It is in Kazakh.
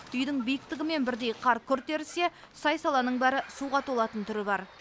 үйдің биіктігімен бірдей қар күрт ерісе сай саланың бәрі суға толатын түрі бар